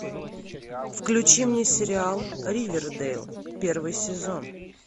включи мне сериал ривердейл первый сезон